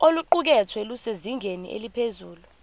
oluqukethwe lusezingeni eliphezulu